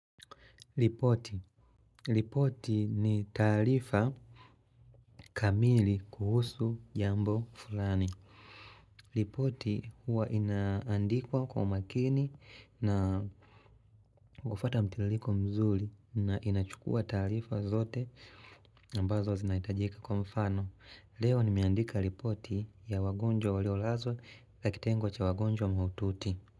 Ripoti. Ripoti ni taarifa kamili kuhusu jambo fulani. Ripoti hua inaandikwa kwa makini na kufata mtiririko mzuri na inachukua taarifa zote ambazo zinahitajika kwa mfano. Leo nimeandika ripoti ya wagonjwa walio lazwa na kitengo cha wagonjwa mahututi.